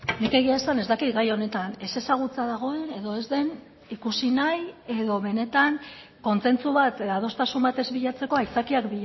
nik egia esan ez dakit gai honetan ezezagutza dagoen edo ez den ikusi nahi edo benetan kontsentsu bat adostasun bat ez bilatzeko aitzakiak